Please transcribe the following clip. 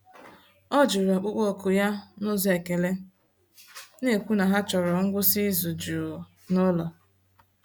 Ọ jụrụ ọkpụkpọ oku ya n’ụzọ ekele, na-ekwu na ha chọrọ ngwụsị izu jụụ n'ụlọ.